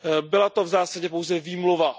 Byla to v zásadě pouze výmluva.